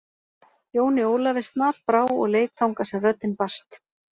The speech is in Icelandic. Jóni Ólafi snarbrá og leit þangað sem röddin barst.